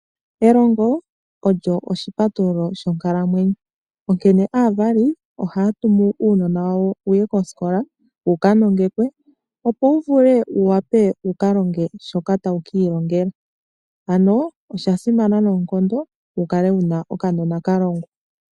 Elongo olyo oshipatululo shonkalamwenyo onkene aavali ohaya tumu uunona wawo wuye kosikola wu ka nongekwe opo wu vule wu wape wu ka longe shoka tawu kiilongela ano osha simana noonkondo wu kale wu na okanona ka longwa.